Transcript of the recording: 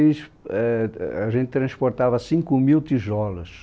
E ãh a gente transportava cinco mil tijolos.